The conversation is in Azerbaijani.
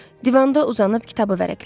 Divanda uzanıb kitabı vərəqlədi.